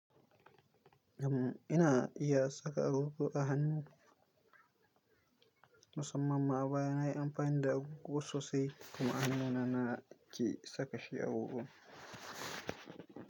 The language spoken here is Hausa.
Am ina iya saka agogo a hannu musamman ma baya na yi amfani da agogo sosai kuma hannuna na ke saka shi agogon.